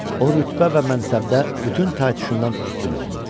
O rütbə və mənsəbdə bütün taytuşundan üstün oldu.